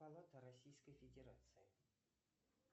палата российской федерации